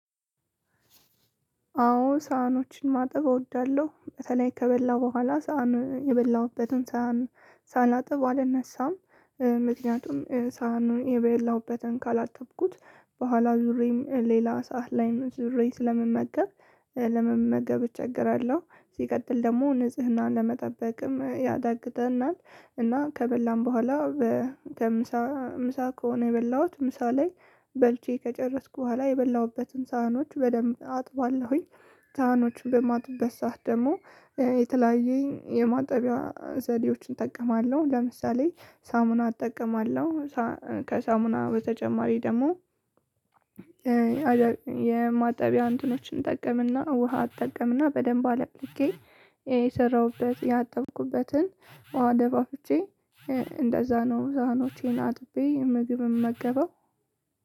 አዎ ሳህኖችን ማጠብ እወዳለሁ በተለይ ከበላሁ በኋላ ሳህን የበላሁበትን ሳህን ሳላጥብ አልነሳም። ምክንያቱም ሳህኑን የበላሁበትን ካላጠብኩት በኋላ ዙሬም ሌላ ሰዓት ላይም ዙሬ ስለምመገብ። ለመመገብ እቸገራለሁ ሲቀጥል ደግሞ ንጽህናን ለመጠበቅም ያዳግተናል። እና ከበላን በኋላ ከምሳ ምሳ ከሆነ የበላሁት ምሳ ላይ በልቼ ከጨረስኩ በኋላ የበላሁበትን ሳህኖች በደንብ አጥባለሁኝ። ሳህኖችን በማጥብበት ሰዓት ደግሞ የተለያዩ የማጠቢያ ዘዴዎችን እጠቀማለሁ ለምሳሌ ሳሙና እጠቀማለሁ። ከሳሙና በተጨማሪ ደግሞ የማጠቢያ አንትኖችን እጠቀምና ውሃ እጠቀምና በደንብ አለቅልቄ የሰራሁበት ያጠብኩበትን ውሃ ደፋፍቼ። እንደዛ ነው ሳህኖቼን አጥቤ ምግብ ምመገበው።